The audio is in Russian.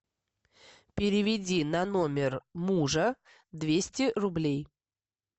переведи на номер мужа двести рублей